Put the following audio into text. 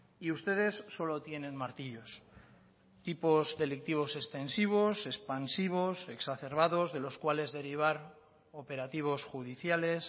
y ustedes solo tienen martillos tipos delictivos extensivos expansivos exacerbadosde los cuales derivar operativos judiciales